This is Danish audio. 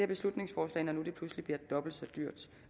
beslutningsforslag når nu det pludselig bliver dobbelt så dyrt